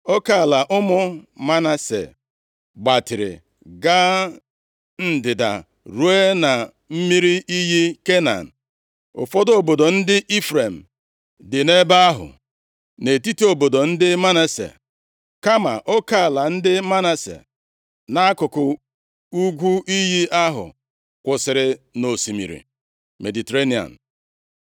Oke ala ụmụ Manase gbatịrị ga ndịda ruo na mmiri iyi Kana. Ụfọdụ obodo ndị Ifrem dị nʼebe ahụ, nʼetiti obodo ndị Manase, kama oke ala ndị Manase nʼakụkụ ugwu iyi ahụ kwụsịrị nʼosimiri Mediterenịa.